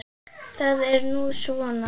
Það er nú svona.